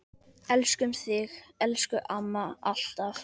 Elskum þig, elsku amma, alltaf.